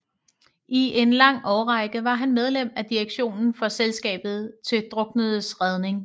I en lang årrække var han medlem af direktionen for Selskabet til Druknedes Redning